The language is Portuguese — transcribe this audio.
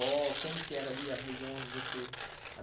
Como que era ali a região onde você